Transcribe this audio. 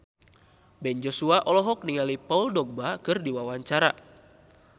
Ben Joshua olohok ningali Paul Dogba keur diwawancara